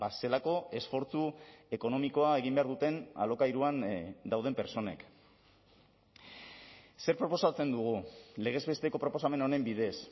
zelako esfortzu ekonomikoa egin behar duten alokairuan dauden pertsonek zer proposatzen dugu legez besteko proposamen honen bidez